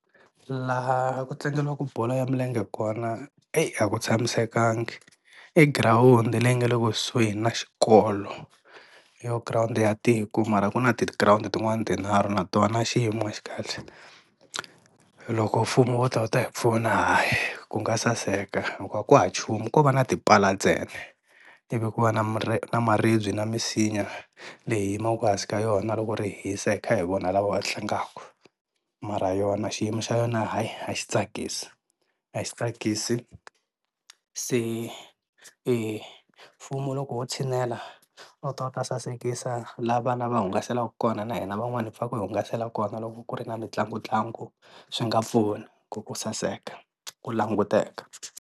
Laha ku tlangeliwaka bolo ya milenge kona eyi a ku tshamisekanga, i girawundi leyi nga le kusuhi na xikolo hi yo girawundi ya tiko mara ku na ti girawundi tin'wana tinharhu na tona xiyimo a xi kahle. Loko mfumo wo ta wu ta hi pfuna hayi ku nga saseka hikuva ku hava nchumu ko va na tipala ntsena i vi ku va na na maribye na misinya leyi hi yimaka hansi ka yona loko ri hisa hi kha hi vona lava tlangaka mara yona xiyimo xa yona haayi a xi tsakisi, a xi tsakisi se mfumo loko wo tshinela a wu ta wu ta sasekisa la vana va hungaselaka kona na hina van'wana hi pfaka hi hungasela kona loko ku ri na mitlangu ntlangu swi nga pfuna ku ku saseka ku languteka.